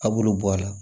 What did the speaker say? A b'olu bɔ a la